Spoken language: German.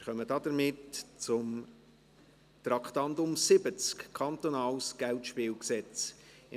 Wir kommen damit zum Traktandum 70, Kantonales Geldspielgesetz (KGSG).